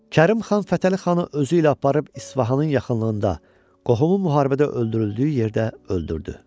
Kərim xan Fətəli xanı özü ilə aparıb İsfahanın yaxınlığında qohumu müharibədə öldürüldüyü yerdə öldürdü.